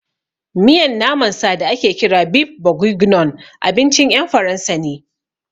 Miyan naman sa da ake kira beef bourguignon abincin ƴan Faransa ne